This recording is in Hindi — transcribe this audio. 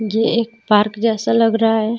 ये एक पार्क जैसा लग रहा है.